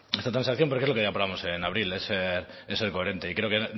esta transacción porque es lo que ya aprobamos en abril es ser coherente y creo que